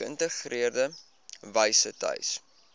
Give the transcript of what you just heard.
geïntegreerde wyse tuis